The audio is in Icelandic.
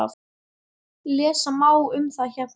Lesa má um það hérna.